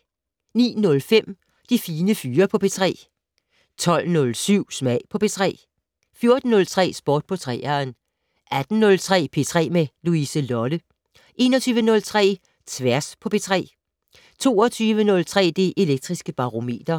09:05: De Fine Fyre på P3 12:07: Smag på P3 14:03: Sport på 3'eren 18:03: P3 med Louise Lolle 21:03: Tværs på P3 22:03: Det Elektriske Barometer